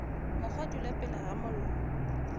mokgwa dula pele ga mollo